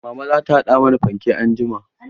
Mama za ta haɗa mana fankek anjima.